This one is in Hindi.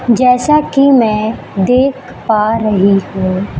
जैसा कि मैं देख पा रही हूं।